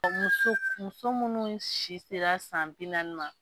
Ka muso muso munnu si sera san bi naani ma.